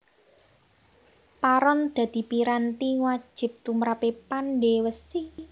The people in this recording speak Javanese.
Paron dadi piranti wajib tumrape pandhe wesi